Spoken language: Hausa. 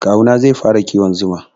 Kawu na zai fara kiwon zuma.